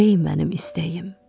Ey mənim istəyim.